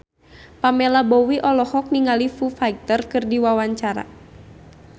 Pamela Bowie olohok ningali Foo Fighter keur diwawancara